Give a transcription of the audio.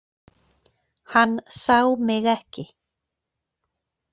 Hann sá mig ekki.